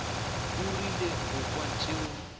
o rile go kwa tšeo